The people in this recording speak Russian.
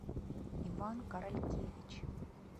иван королькевич